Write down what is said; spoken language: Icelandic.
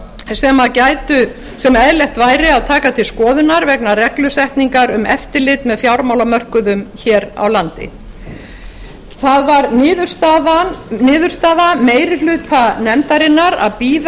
ef til vill atriði sem eðlilegt væri að taka til skoðunar vegna reglusetningar um eftirlit með fjármálamörkuðum hér á landi það var niðurstaða meiri hluta nefndarinnar að bíða